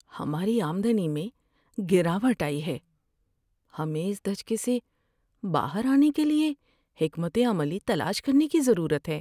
ہماری آمدنی میں گراوٹ آئی ہے! ہمیں اس دھچکے سے باہر آنے کے لیے حکمت عملی تلاش کرنے کی ضرورت ہے۔